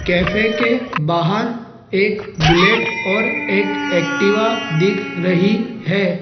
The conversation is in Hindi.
कैफे के बाहर एक बुलेट और एक एक्टिवा दिख रही है।